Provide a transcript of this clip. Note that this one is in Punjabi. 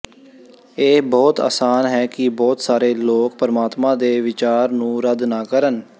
ਇਹ ਬਹੁਤ ਅਸਾਨ ਹੈ ਕਿ ਬਹੁਤ ਸਾਰੇ ਲੋਕ ਪਰਮਾਤਮਾ ਦੇ ਵਿਚਾਰ ਨੂੰ ਰੱਦ ਨਾ ਕਰਨ